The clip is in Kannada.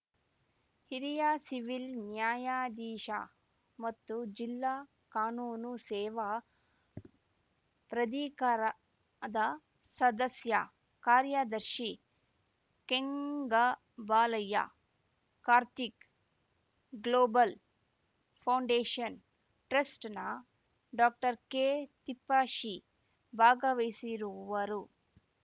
ಹಿರಿಯ ಸಿವಿಲ್‌ ನ್ಯಾಯಾಧೀಶ ಮತ್ತು ಜಿಲ್ಲಾ ಕಾನೂನು ಸೇವಾ ಪ್ರಾಧಿಕಾರದ ಸದಸ್ಯ ಕಾರ್ಯದರ್ಶಿ ಕೆಂಗಬಾಲಯ್ಯ ಕಾರ್ತಿಕ್‌ ಗ್ಲೋಬಲ್‌ ಫೌಂಡೇಷನ್‌ ಟ್ರಸ್ಟ್‌ನ ಡಾಕ್ಟರ್ ಕೆತಿಪ್ಪೇಶಿ ಭಾಗವಹಿಸುವರು